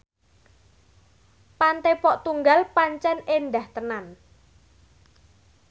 Pantai Pok Tunggal pancen endah tenan